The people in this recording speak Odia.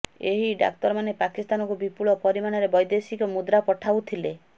ଏହି ଡାକ୍ତରମାନେ ପାକିସ୍ତାନକୁ ବିପୁଳ ପରିମାଣରେ ବୈଦେଶିକ ମୁଦ୍ରା ପଠାଉଥିଲେ